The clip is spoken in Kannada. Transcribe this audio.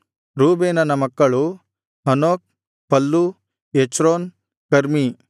ರೂಬೇನನ ಮಕ್ಕಳು ಹನೋಕ್ ಫಲ್ಲೂ ಹೆಚ್ರೋನ್ ಕರ್ಮೀ